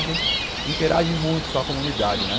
A gente interage muito com a comunidade, né?